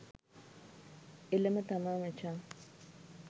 එලම තමා මචං